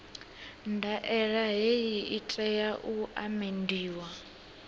ndaela hei i tea u amendiwa